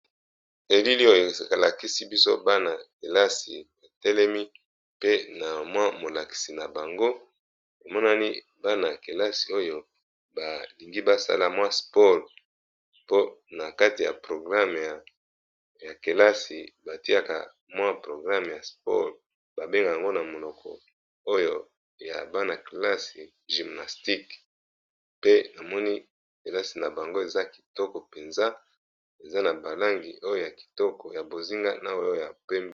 Elili oyo alakisi biso banay helasi betelemi pe na mwa molakisi na bango emonani bana ya kelasi oyo balingi basala mwa spole po na kati ya programe ya kelasi batiaka mwa programe ya spole babenge yango na monoko oyo ya bana-kelasi gymnastique pe na moni helasi na bango eza kitoko mpenza eza na balangi oyo ya kitoko ya bozinga na oyoyab.